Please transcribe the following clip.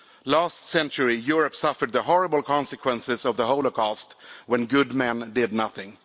Last century Europe suffered the horrible consequences of the Holocaust, when good men did nothing.